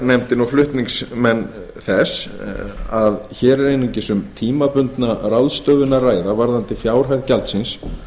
nefndin og flutningsmenn frumvarpsins að hér er einungis um tímabundna ráðstöfun að ræða varðandi fjárhæð gjaldsins